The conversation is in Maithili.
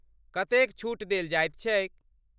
कतेक छूट देल जाइत छैक?